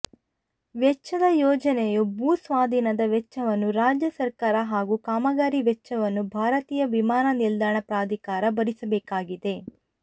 ವೆಚ್ಚದ ಯೋಜನೆಯ ಭೂ ಸ್ವಾಧೀನದ ವೆಚ್ಚವನ್ನು ರಾಜ್ಯ ಸರ್ಕಾರ ಹಾಗೂ ಕಾಮಗಾರಿ ವೆಚ್ಚವನ್ನು ಭಾರತೀಯ ವಿಮಾನ ನಿಲ್ದಾಣ ಪ್ರಾಧಿಕಾರ ಭರಿಸಬೇಕಾಗಿದೆ